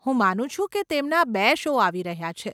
હું માનું છું કે તેમના બે શો આવી રહ્યાં છે.